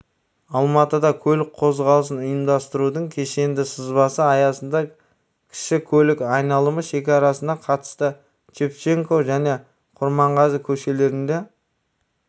алматыда көлік қозғалысын ұйымдастырудың кешенді сызбасы аясында кіші көлік айналымы шекарасына қатысты шевченко және құрманғазы көшелерінде